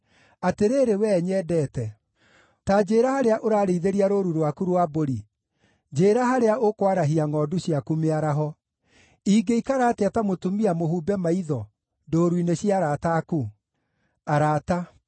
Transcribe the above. Atĩrĩrĩ, wee nyendete, ta njĩra harĩa ũrarĩithĩria rũũru rwaku rwa mbũri, njĩĩra harĩa ũkwarahia ngʼondu ciaku mĩaraho. Ingĩikara atĩa ta mũtumia mũhumbe maitho ndũũru-inĩ cia arata aku?